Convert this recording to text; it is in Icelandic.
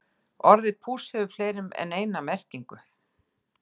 Orðið púss hefur fleiri en eina merkingu.